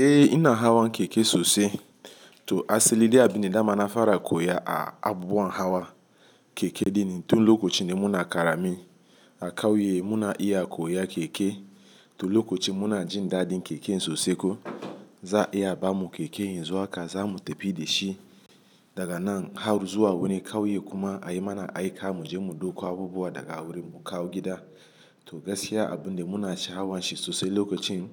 Eh ina hawa keke sosai to asali de abin da mana fara koya a abubuwan hawa keke din. Tun lokacin da muna karami a kauye muna iya koya keke. To lokacin muna jin daɗin keken sosai ko za a iya bamu keke yanzu haka zamu tafi da shi daga nan har zuwa wurin kauye kuma a yi mana aika mu je mu dauko abubuwa daga wurin mun kawo gida. To gaskiya abin da muna sha hawan shi sosai lokacin